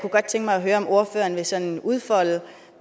høre om ordføreren vil sådan udfolde